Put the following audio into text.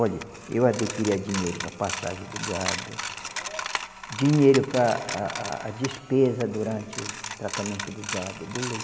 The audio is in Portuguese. Olhe, eu adquiria dinheiro para a passagem do gado, dinheiro para a a despesa durante o tratamento do gado, do leite.